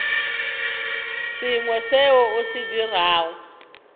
sengwe seo o se dirago